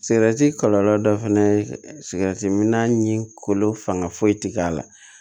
Sigɛrɛti kɔlɔlɔ dɔ fɛnɛ ye sigɛriti minna ni kolo fanga foyi ti k'a la